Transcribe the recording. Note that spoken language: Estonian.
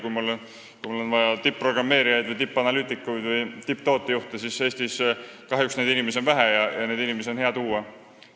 Kui mul on vaja tipp-programmeerijaid, tippanalüütikuid või tipptootejuhte, siis Eestis on neid inimesi kahjuks vähe, hea oleks selliseid inimesi sisse tuua.